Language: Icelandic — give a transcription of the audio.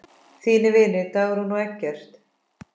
Þínir vinir, Dagrún og Eggert.